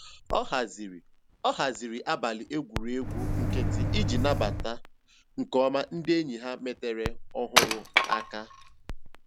Ọ haziri Ọ haziri abalị egwuregwu nkịtị iji nabata nke ọma ndị enyi ha metara ọhụrụ aka